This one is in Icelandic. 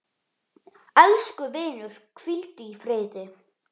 Elsku vinur, hvíldu í friði.